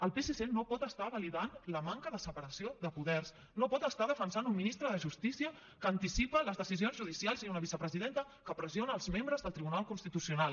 el psc no pot estar validant la manca de separació de poders no pot estar defensant un ministre de justícia que anticipa les decisions judicials i una vicepresidenta que pressiona els membres del tribunal constitucional